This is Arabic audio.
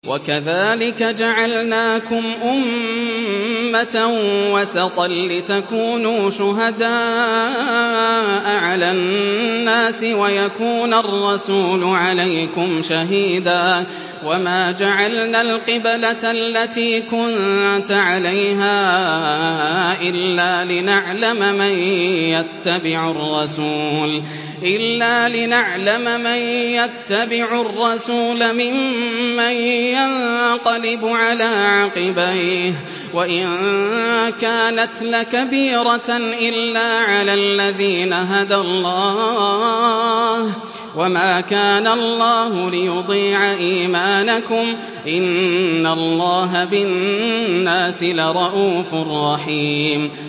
وَكَذَٰلِكَ جَعَلْنَاكُمْ أُمَّةً وَسَطًا لِّتَكُونُوا شُهَدَاءَ عَلَى النَّاسِ وَيَكُونَ الرَّسُولُ عَلَيْكُمْ شَهِيدًا ۗ وَمَا جَعَلْنَا الْقِبْلَةَ الَّتِي كُنتَ عَلَيْهَا إِلَّا لِنَعْلَمَ مَن يَتَّبِعُ الرَّسُولَ مِمَّن يَنقَلِبُ عَلَىٰ عَقِبَيْهِ ۚ وَإِن كَانَتْ لَكَبِيرَةً إِلَّا عَلَى الَّذِينَ هَدَى اللَّهُ ۗ وَمَا كَانَ اللَّهُ لِيُضِيعَ إِيمَانَكُمْ ۚ إِنَّ اللَّهَ بِالنَّاسِ لَرَءُوفٌ رَّحِيمٌ